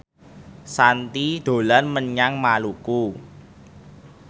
Shanti dolan menyang Maluku